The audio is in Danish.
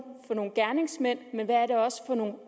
gerningsmænd men også